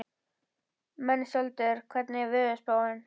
Mensalder, hvernig er veðurspáin?